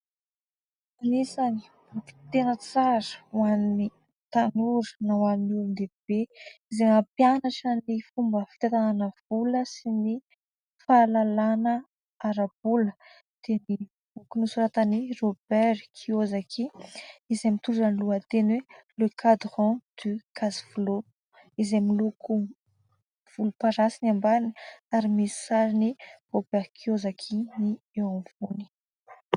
Anisan'ny boky tena tsara ho an'ny tanora na ho an'ny olon-dehibe, izay nampianatra ny fomba fitantanana vola sy ny fahalalana ara-bola dia ny boky nosoratan'i " Robert T. Kiosaki ", izay mitondra ny lohateny hoe :" Le Quadrant du Cashflow "; izay miloko volomparasy ny ambany ary misy sarin'i " Robert Kiosaki "ny eo afovoany.